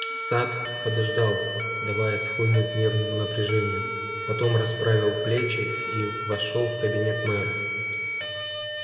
сатт подождал давая схлынуть нервному напряжению потом расправил плечи и вошёл в кабинет мэра